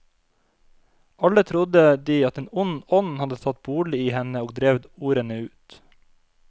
Alle trodde de at en ond ånd hadde tatt bolig i henne og drevet ordene ut.